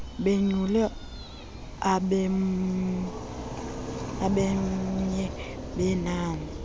bonyule abenmye wenani